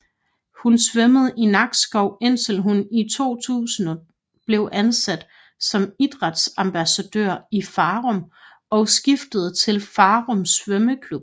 Hun svømmede i Nakskov indtil hun i 2000 blev ansat som idrætsambassadør i Farum og skiftede til Farum Svømmeklub